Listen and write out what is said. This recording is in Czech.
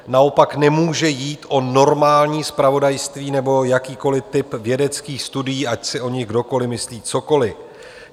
Naopak nemůže jít o normální zpravodajství nebo jakýkoliv typ vědeckých studií, ať si o nich kdokoliv myslí cokoliv.